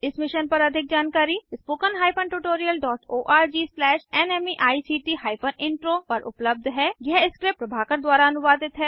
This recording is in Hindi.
इस मिशन पर अधिक जानकारी spoken hyphen tutorial dot ORG slash NMEICT hyphen intro पर उपलब्ध है यह स्क्रिप्ट प्रभाकर द्वारा अनुवादित है